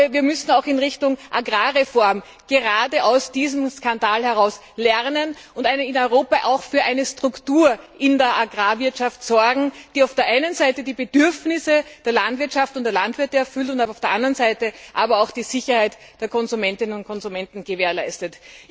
Wir müssen auch in Richtung Agrarreform gerade aus diesem Skandal heraus lernen und in Europa für eine Struktur in der Agrarwirtschaft sorgen, die auf der einen Seite die Bedürfnisse der Landwirtschaft und der Landwirte erfüllt, auf der anderen Seite aber auch die Sicherheit der Verbraucherinnen und Verbraucher gewährleistet.